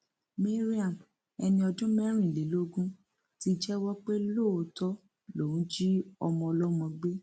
mariam ẹni ọdún mẹrìnlélógún ti jẹwọ pé lóòótọ lòún jí ọmọ ọlọmọ gbé